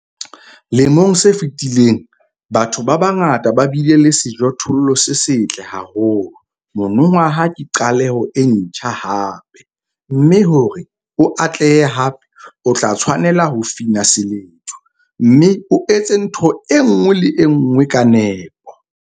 Lemong se fetileng, batho ba bangata ba bile le sejothollo se setle haholo - monongwaha ke qaleho e ntjha hape, mme hore o atlehe hape, o tla tshwanela ho fina seledu, mme o etse ntho e nngwe le e nngwe ka nepo.